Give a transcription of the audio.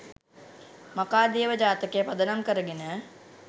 මඛාදේව ජාතකය පදනම් කරගෙන